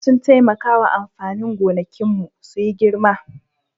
Cinnaka sun taimaka wa amfanin gonakinmu su yi girma